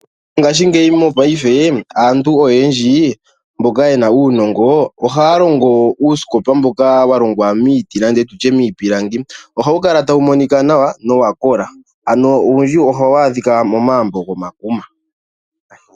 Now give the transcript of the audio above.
Ngashingeyi mopaife aantu oyendji mboka ye na uunongo ohaya longo uusikopa mboka wa longwa miiti nenge miipilangi ohawu kala tawu monika nawa nowa kola ano owundji ohawu adhika momagumbo gomakuma.